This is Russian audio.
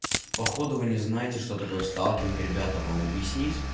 походу вы не знаете что такое сталкинг ребята вам объяснить